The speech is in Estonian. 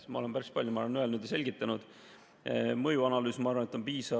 Ma olen päris palju, ma arvan, öelnud ja selgitanud, et mõjuanalüüs, ma arvan, on piisav.